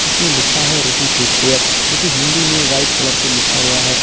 इसमें लिखा है ऋषि फुटवेयर जोकि हिंदी में वाइट कलर से लिखा गया है।